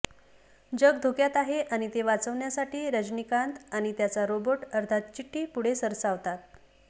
जग धोक्यात आहे आणि ते वाचवण्यासाठी रजनीकांत आणि त्याचा रोबोट अर्थात चिट्टी पुढे सरसावतात